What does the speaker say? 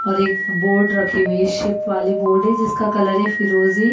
और एक बोर्ड रखी हुई है शीप वाली बोर्ड है जिसका कलर है फिरोजी।